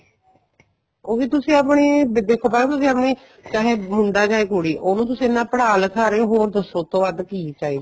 ਉਹ ਵੀ ਤੁਸੀ ਆਪਣੇ ਦੂਜੇ ਸੁਭਾ ਤੁਸੀ ਆਪਣੇ ਚਾਹੇ ਮੁੰਡਾ ਚਾਹੇ ਕੁੜੀ ਉਹਨੂੰ ਤੁਸੀਂ ਇੰਨਾ ਪੜ੍ਹਾ ਲਿਖਾ ਰਹੇ ਓ ਹੋਰ ਦੱਸੋ ਉਸ ਤੋਂ ਵੱਧ ਕੀ ਚਾਹੀਦਾ